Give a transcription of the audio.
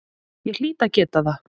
Ég hlýt að geta það.